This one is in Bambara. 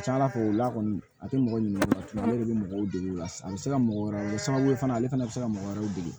Ca ala fɛ o la kɔni a tɛ mɔgɔ ɲini wa ale de bɛ mɔgɔw dege o la sa a bɛ se ka mɔgɔ wɛrɛ sababu ye fana ale fana bɛ se ka mɔgɔ wɛrɛw dege